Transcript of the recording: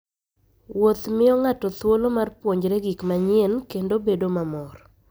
Wuoth miyo ng'ato thuolo mar puonjore gik manyien kendo bedo mamor.